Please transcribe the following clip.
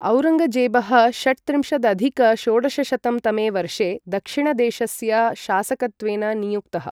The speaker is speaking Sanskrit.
औरङ्गजेबः षट्त्रिंशदधिक षोडशशतं तमे वर्षे दक्षिणदेशस्य शासकत्वेन नियुक्तः।